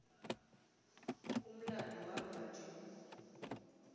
umlando wamva nje